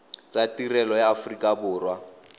tsa tirelo ya aforika borwa